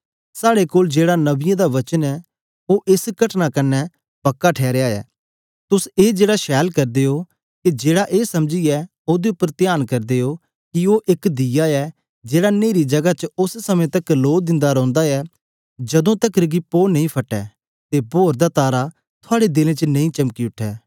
साहडे कोल जेहड़ा नबीयों दा वचन ऐ ओह एस घटना कन्ने पक्का ठैरे या तुस ए छैल करदे हो जेड़ा ए समझीयै ओहदे उप्पर तयान करदे हो कि ओह इक दीया ऐ जेहड़ा नेरी जगह च ओस पक्त तकर प्रकाश दिंदा रौंदा ऐ जदू तकर कि पौ नां फटे अते भोर दा तारा थुआड़े दिलो च नां चमक उठे